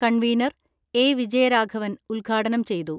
Convener A Vijayaraghavan ഉദ്ഘാടനം ചെയ്തു.